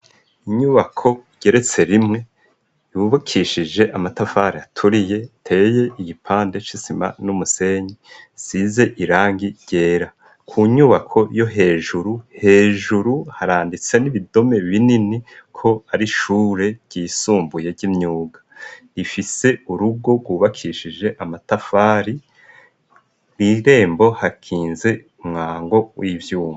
Inyubako igeretse rimwe yubakishije amatafari aturiye ateye igipande c'isima n'umusenyi isize irangi ryera. Ku nyubako yo hejuru, hejuru haranditse n'ibidome binini ko ari shure ryisumbuye ry'imyuga, rifise urugo rwubakishije amatafari, w'irembo hakinze umwango w'ivyuma.